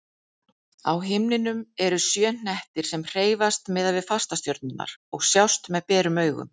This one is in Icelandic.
Á himninum eru sjö hnettir sem hreyfast miðað við fastastjörnurnar og sjást með berum augum.